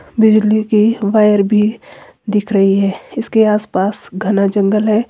बिजली की वायर भी दिख रही है इसके आसपास घना जंगल है।